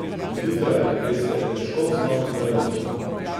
Zjutraj, veste, težko vstanem pred osmo.